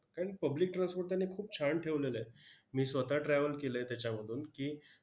कारण public transport त्यांनी खूप छान ठेवलेलं आहे. मी स्वतः travel केलंय त्याच्यामधून की,